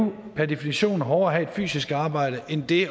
per definition hårdere at have et fysisk arbejde end det